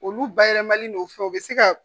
Olu bayɛlɛmali no fɛn u bɛ se ka